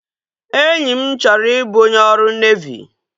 Enyi m chọrọ i bụ onye ọrụ nevi